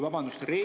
Vabandust!